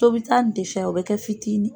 Tobita in saya o bɛ kɛ fitini.